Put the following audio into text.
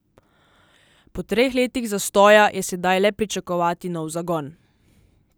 Po treh letih zastoja je sedaj le pričakovati nov zagon.